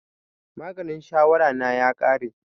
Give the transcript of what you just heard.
Maganin shawara na ya ƙare